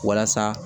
Walasa